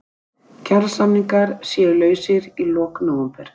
Kjarasamningar séu lausir í lok nóvember